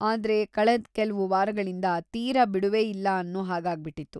ಆದ್ರೆ ಕಳೆದ್‌ ಕೆಲ್ವು ವಾರಗಳಿಂದ ತೀರಾ ಬಿಡುವೇ ಇಲ್ಲ ಅನ್ನೊ ಹಾಗಾಗ್ಬಿಟಿತ್ತು.